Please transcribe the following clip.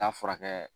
Taa furakɛ